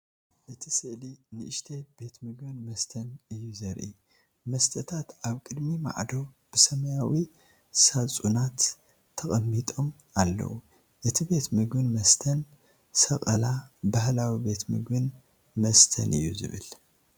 እቲ ስእሊ ንእሽተይ ቤት ምግብን መስተን እዩ ዘርኢ። መስተታት ኣብ ቅድሚ ማዕጾ ብሰማያዊ ሳጹናት ተቐሚጦም ኣለዉ። እቲ ቤት ምግብን መስተን "ሰቀላ ባህላዊ ቤት ምግብን መስተን" እዩ ዝባሃል።